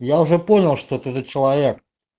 я уже понял что ты за человек